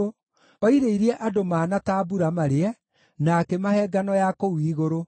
oirĩirie andũ mana ta mbura marĩe, na akĩmahe ngano ya kũu igũrũ.